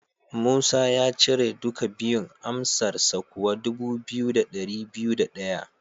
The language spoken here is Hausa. Musa ya cire duka biyun, amsarsa kuwa dubu biyu da dari biyu da daya.